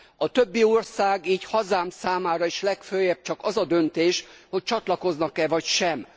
A többi ország, így hazám számára is legföljebb csak az a döntés, hogy csatlakoznak e vagy sem.